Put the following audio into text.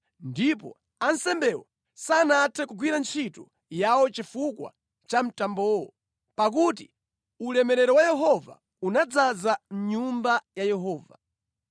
Ndipo ansembewo sanathe kugwira ntchito yawo chifukwa cha mtambowo, pakuti ulemerero wa Yehova unadzaza mʼNyumba ya Yehova.